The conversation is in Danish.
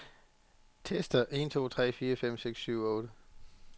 Tester en to tre fire fem seks syv otte.